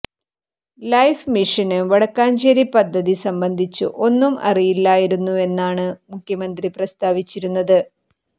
life മിഷന് വടക്കാഞ്ചേരി പദ്ധതി സംബന്ധിച്ച് ഒന്നും അറിയില്ലായിരുന്നുവെന്നാണ് മുഖ്യമന്ത്രി പ്രസ്താവിച്ചിരുന്നത്